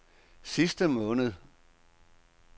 sidste måned